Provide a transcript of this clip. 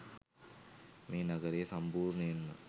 මේ නගරය සම්පූර්ණයෙන්ම